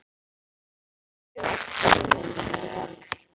Hann er með frjótt ímyndunarafl.